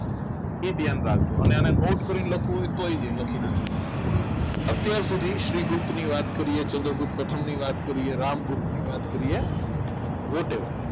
એ ધ્યાન રાખજો અને આને નોટ કરીને લખી નાખજો અત્યાર સુધી શ્રીગુપ્ત ની વાત કરીએ ચંદ્રગુપ્ત પ્રથમ ની વાત કરીએ રામગુપ્ત ની વાત કરીએ what ever